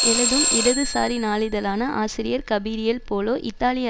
எழுதும் இடதுசாரி நாளிதழான ஆசிரியர் கபிரியேல் போலோ இத்தாலிய